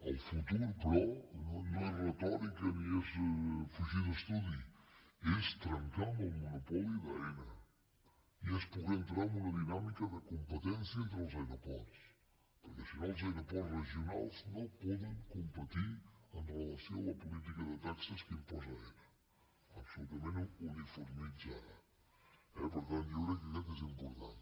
el futur però no és retòrica ni és fugir d’estudi és trencar amb el monopoli d’aena i és poder entrar en una dinàmi·ca de competència entre els aeroports perquè si no els aeroports regionals no poden competir amb relació a la política de taxes que imposa aena absolutament uniformitzada eh per tant jo crec que aquest és im·portant